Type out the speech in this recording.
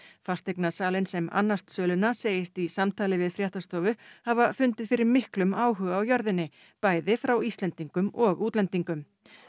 fasteignasalinn sem annast söluna segist í samtali við fréttastofu hafa fundið fyrir miklum áhuga á jörðinni bæði frá Íslendingum og útlendingum